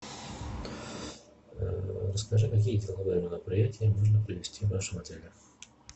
расскажи какие деловые мероприятия можно провести в вашем отеле